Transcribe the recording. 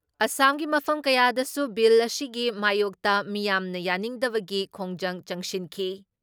ꯑꯁꯥꯝꯒꯤ ꯃꯐꯝ ꯀꯌꯥꯗꯁꯨ ꯕꯤꯜ ꯑꯁꯤꯒꯤ ꯃꯥꯌꯣꯛꯇ ꯃꯤꯌꯥꯝꯅ ꯌꯥꯅꯤꯡꯗꯕꯒꯤ ꯈꯣꯡꯖꯪ ꯆꯪꯁꯤꯟꯈꯤ ꯫